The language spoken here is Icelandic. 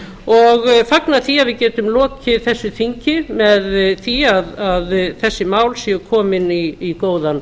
og fagna því að við getum lokið þessu þingi með því að þessi mál séu komin í góðan